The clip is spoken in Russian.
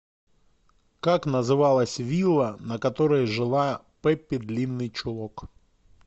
как называлась вилла на которой жила пеппи длинный чулок